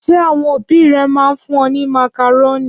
Ṣé àwọn òbí rẹ máa ń fún ọ ní màkàrónì?